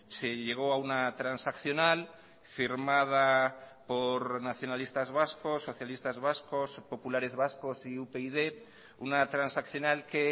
se llegó a una transaccional firmada por nacionalistas vascos socialistas vascos populares vascos y upyd una transaccional que